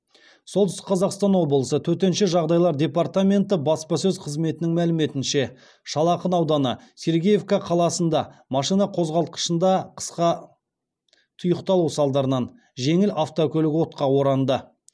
солтүстік қазақстан облысы төтенше жағдайлар департаменті баспасөз қызметінің мәліметінше шал ақын ауданы сергеевка қаласында машина қозғалтқышында қысқа тұйықталу салдарынан жеңіл автокөлік отқа оранды